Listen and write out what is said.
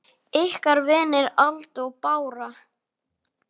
Ykkar vinir, Alda og Bára.